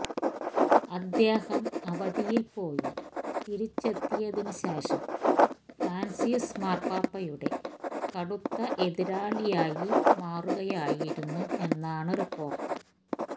അദ്ദേഹം അവധിയില് പോയി തിരിച്ചെത്തിയതിന് ശേഷം ഫ്രാന്സിസ് മാര്പാപ്പയുടെ കടുത്ത എതിരാളിയായി മാറുകയായിരുന്നു എന്നാണ് റിപ്പോര്ട്ട്